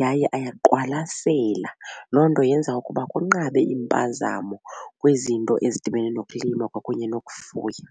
yaye ayaqwalasela. Loo nto yenza ukuba kunqabe iimpazamo kwizinto ezidibene nokulima kwakunye nokufuya.